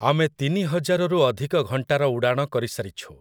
ଆମେ ତିନିହଜାରରୁ ଅଧିକ ଘଣ୍ଟାର ଉଡ଼ାଣ କରିସାରିଛୁ ।